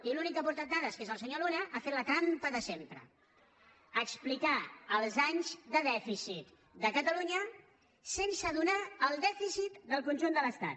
i l’únic que ha aportat dades que és el senyor luna ha fet la trampa de sempre explicar els anys de dèficit de catalunya sense donar el dèficit del conjunt de l’estat